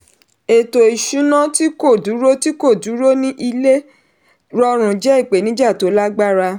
ètò ìṣúná tí kò dúró tí kò dúró ní ilé rọrùn jẹ́ ipenija tó lágbára.